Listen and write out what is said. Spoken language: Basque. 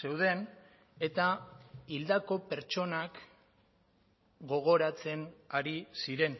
zeuden eta hildako pertsonak gogoratzen ari ziren